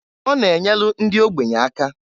Ọ na-enyelu ndị ogbenye aka.